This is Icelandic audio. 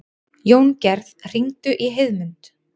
Jóngerð, hringdu í Heiðmund.